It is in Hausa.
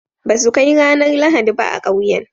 ba su Kai ranar lahadi ba a kauyen